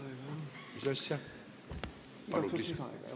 Palun igaks juhuks lisaaega ka!